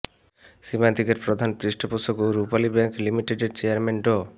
সীমান্তিকের প্রধান পৃষ্ঠপোষক ও রূপালী ব্যাংক লিমিটেডের চেয়ারম্যান ড